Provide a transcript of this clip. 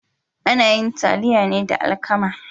Ana yin taliya ne da alkama.